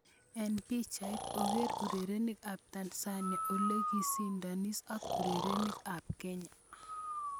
Eng' pichait: Oker urerenik ab Tanzania olekokisindon ak urerik ab Kenya